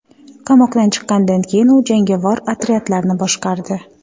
Qamoqdan chiqqandan keyin u jangovar otryadlarni boshqardi.